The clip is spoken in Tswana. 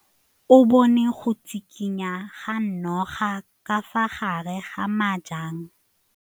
O bone go tshikinya ga noga ka fa gare ga majang.